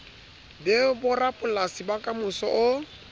be borapolasi ba kamoso o